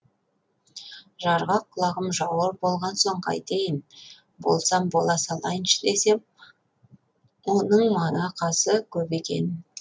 жарғақ құлағым жауыр болған соң қайтейін болсам бола салайыншы десем оның манақасы көп екен